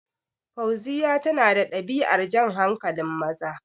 Fauziya tana da ɗabi'ar jan hankalin maza